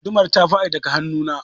Gudumar ta faɗi daga hannu na.